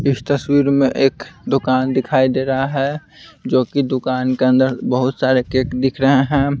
इस तस्वीर में एक दुकान दिखाई दे रहा है जो कि दुकान के अंदर बहुत सारे केक दिख रहे हैं।